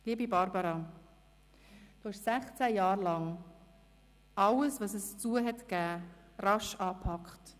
Liebe Barbara, du hast sechzehn Jahre lang alles, was es zu tun gab, rasch angepackt: